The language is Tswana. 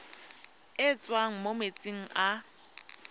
e tswang mo metsing a